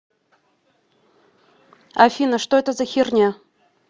афина что это за херня